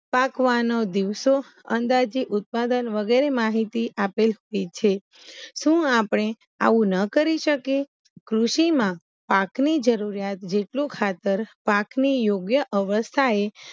પકવાનો દિવસો અંદાજે ઉત્પાદન વગેરે માંહિતી આપેલ છે સુ આપડે આવું ન કરી શકીએ કૃષિમાં પાકની જરૂરિયાત જેટલું ખાતર પાકની યોગ્ય અવસ્થાએ